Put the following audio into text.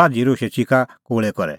बाझ़ी दोशै च़िका कोल़ै करै